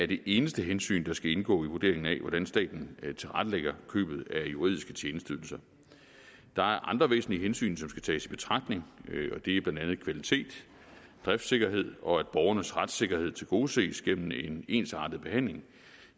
det eneste hensyn der skal indgå i vurderingen af hvordan staten tilrettelægger købet af juridiske tjenesteydelser der er andre væsentlige hensyn som skal tages i betragtning og det er blandt andet kvalitet driftssikkerhed og at borgernes retssikkerhed tilgodeses gennem en ensartet behandling